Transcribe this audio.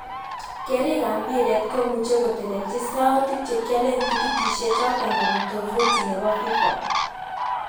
Keerik kab mbiret komuch kotelelchi soutik chekiolen tiketishe choton kobun toviti nebo fifa.